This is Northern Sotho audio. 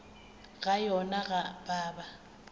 ga yona go a baba